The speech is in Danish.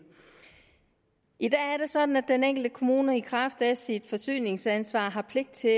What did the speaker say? i dag er det sådan at den enkelte kommune i kraft af sit forsyningsansvar har pligt til